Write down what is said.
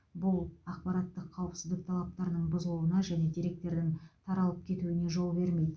бұл ақпараттық қауіпсіздік талаптарының бұзылуына және деректердің таралып кетуіне жол бермейді